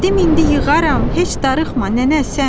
Dedim indi yığaram, heç darıxma nənə sən.